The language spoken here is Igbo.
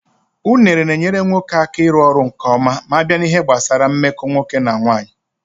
Unere na-enyere nwoke aka iru ọrụ nkeọma m'abịa n'ihe gbasaranna mmeko nwoke na nwanyị.